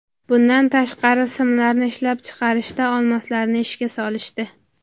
Bundan tashqari, simlarni ishlab chiqarishda olmoslarni ishga solishdi.